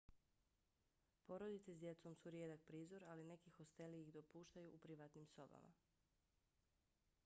porodice s djecom su rijedak prizor ali neki hosteli ih dopuštaju u privatnim sobama